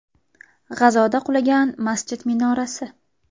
G‘azoda qulagan masjid minorasi.